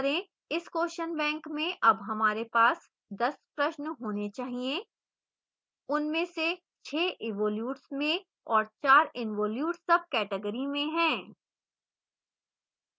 इस question bank में अब हमारे पास 10 प्रश्न होने चाहिए